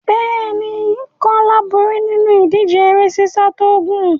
Bẹ́ẹ̀ ni, Kólá borí nínú ìdíje eré sísá tó gùn.